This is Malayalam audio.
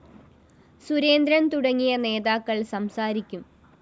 സുരേന്ദ്രന്‍ തുടങ്ങിയ നേതാക്കള്‍ സംസാരിക്കും